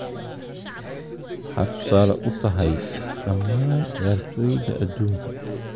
Waxaad tusaale u tahay dhammaan ciyaartooyda adduunka.